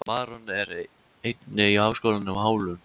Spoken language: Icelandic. Maron, er opið í Háskólanum á Hólum?